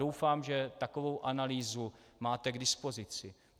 Doufám, že takovou analýzu máte k dispozici.